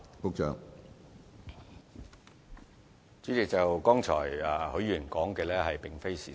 主席，許議員剛才所說的並非事實。